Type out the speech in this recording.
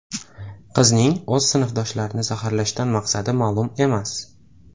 Qizning o‘z sinfdoshlarini zaharlashdan maqsadi ma’lum emas.